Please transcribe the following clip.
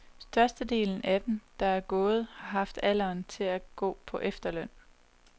Størstedelen af dem, der er gået, har haft alderen til at gå på efterløn.